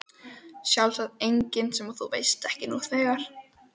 Sjálfsagt engin sem þú ekki veist nú þegar.